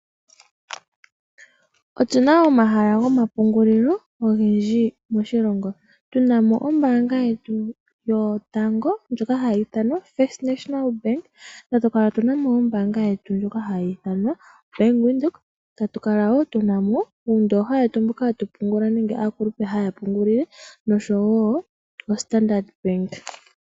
Otuna omahala ogendji gomapungulilo moshilongo tuna mo ombaanga yetu yotango ndjoka hayi ithanwa Firt National Bank, tatu kala tu na mo ombaanga yetu ndjoka hayi ithanwa Bank Windhoek tatu kala woo tu na mo uundooha wetu mboka hatu pungula nenge aakulupe haya pungula nosho wo OStandard Bank.